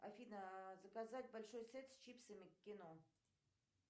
афина заказать большой сет с чипсами к кино